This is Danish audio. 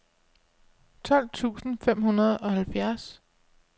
tolv tusind fem hundrede og halvfjerds